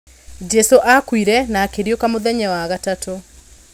Jesu akuire na akĩriũka mũthenya wa gatatũ.